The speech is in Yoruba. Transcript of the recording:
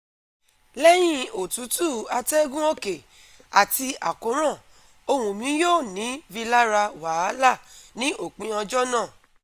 Leyin otutu ategun oke ati akoran ohun mi yoo ni rilara wahala ni opii ojo naa